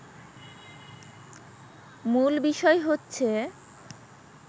মূল বিষয় হচ্ছে